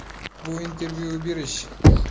Bu intervyu berish.